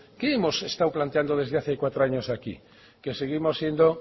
qué hemos estado planteando desde hace cuatro años a aquí que seguimos siendo